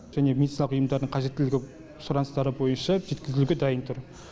және медициналық ұйымдардың қажеттілігі сұраныстары бойынша жеткізілуге дайын тұр